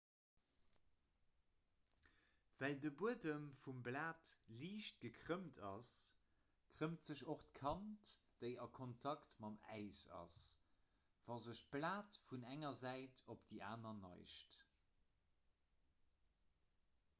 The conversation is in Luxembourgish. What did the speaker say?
well de buedem vum blat liicht gekrëmmt ass krëmmt sech och d'kant déi a kontakt mam äis ass wa sech d'blat vun enger säit op déi aner neigt